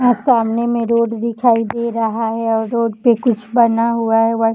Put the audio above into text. यहां सामने में रोड दिखाई दे रहा है और रोड पर कुछ बना हुआ है व्हाइट --